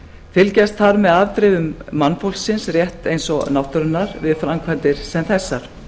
fylgjast þarf hið afbrigðum mannfólksins rétt eins og náttúrunnar við framkvæmdir sem þessar